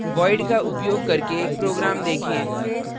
void का उपयोग करके एक program देखें